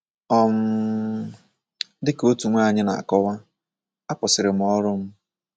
um Dị ka otu nwanyị na - akọwa, akwụsịrị m ọrụ m.